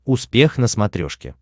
успех на смотрешке